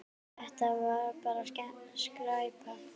Þetta var bara skræpa.